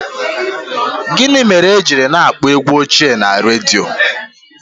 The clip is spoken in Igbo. Gịnị mere ha ji na-akpọ egwu ochie na redio?